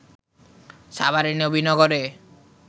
সাভারের নবীনগরে